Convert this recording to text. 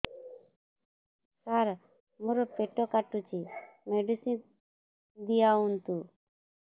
ସାର ମୋର ପେଟ କାଟୁଚି ମେଡିସିନ ଦିଆଉନ୍ତୁ